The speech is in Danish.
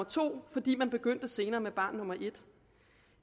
to fordi man begyndte senere med barn nummer et